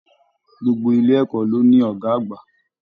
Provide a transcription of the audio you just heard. Gbogbo ilé ẹ̀kọ́ ló ní ọgá àgbà.